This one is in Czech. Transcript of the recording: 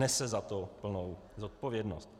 Nese za to plnou odpovědnost.